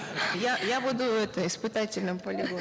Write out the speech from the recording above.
я я буду этой испытательным полигоном